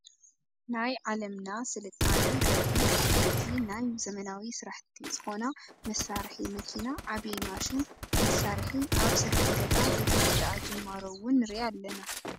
ናይ ዓለምና ስልጣነ ዘርኢ ዓበይቲ ናይ ዘመናዊ ስራሕቲ ዝኮና መሳርሒ መኪና ዓብይ ማሽን መሳርሒ ኣብ ሰፊሕ ገዛ ዘይተወደኣ ጅማሮ እውን ንርኢ ኣለና ።